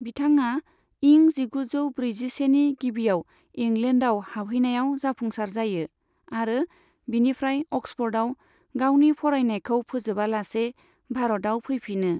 बिथाङा इं जिगुजौ ब्रैजिसेनि गिबियाव इंलेन्डनाव हाबहैनायाव जाफुंसार जायो, आरो बिनिफ्राय अक्सफर्डआव गावनि फरायनायखौ फोजोबालासे भारतआव फैफिनो।